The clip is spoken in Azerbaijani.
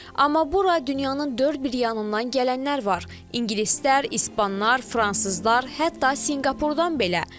Amma bura dünyanın dörd bir yanından gələnlər var: ingilislər, ispanlar, fransızlar, hətta Sinqapurdan belə.